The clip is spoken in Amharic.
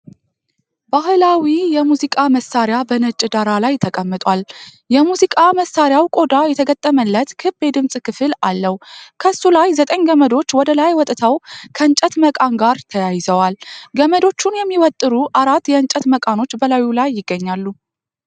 ባህላዊ የሙዚቃ መሣሪያ በነጭ ዳራ ላይ ተቀምጧል። የሙዚቃ መሣሪያው ቆዳ የተገጠመለት ክብ የድምፅ ክፍል አለው። ከሱ ላይ ዘጠኝ ገመዶች ወደ ላይ ወጥተው ከእንጨት መቃን ጋር ተያይዘዋል። ገመዶቹን የሚወጠሩ አራት የእንጨት መቃኖች በላዩ ላይ ይገኛሉ።